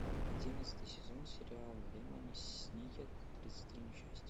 одиннадцатый сезон сериала лемони сникет тридцать три несчастья